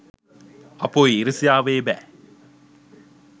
අපොයි ඊරිසියාවේ බෑ